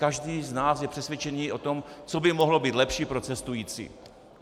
Každý z nás je přesvědčený o tom, co by mohlo být lepší pro cestující.